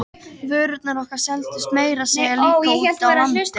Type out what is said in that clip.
Vörurnar okkar seldust meira að segja líka úti á landi.